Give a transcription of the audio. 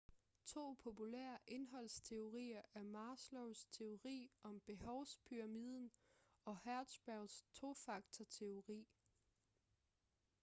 to populære indholdsteorier er maslows teori om behovspyramiden og hertzbergs tofaktor-teori